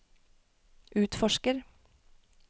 utforsker